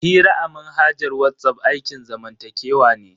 Hira a manhajar WhatsApp aikin zamantakewa ne.